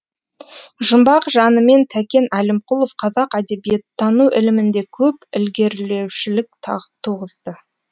жұмбақ жанымен тәкен әлімқұлов қазақ әдебиеттану ілімінде көп ілгерілеушілік туғызды